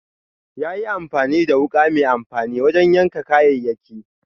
Ya yi amfani da wuka mai amfani wajen yanka kayayyaki.